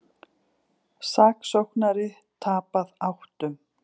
Saksóknari tapað áttum